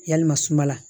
Yalima sumala